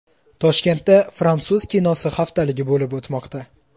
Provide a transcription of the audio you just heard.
Toshkentda fransuz kinosi haftaligi bo‘lib o‘tmoqda.